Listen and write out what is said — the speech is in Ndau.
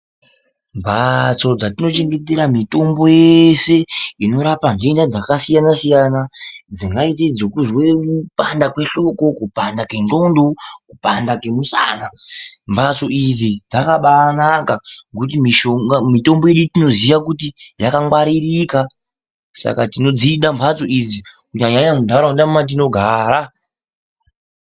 Mbatso dzatinochengetera mitombo yese inorapa ndenda dzakasiyana siyana dzinoita zvekunzwe kupanda kwehloko kana kwengondo kana kupanda kwemusana mbatso iyi dzakabanaka ngekuti mitombo tinenge tichiziva kuti dzakangwaririka saka tinodzida mbatso idzi nyanyanyanya ndaraunda matinogara.